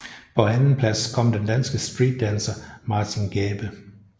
På andenplads kom danske streetdancer Martin Gæbe